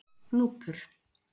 Gnúpur